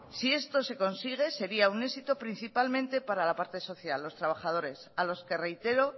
si esto se consigue sería un éxito principalmente para la parte social los trabajadores a los que reitero